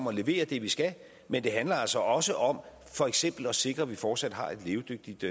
at levere det vi skal men det handler altså også om for eksempel at sikre at vi fortsat har et levedygtigt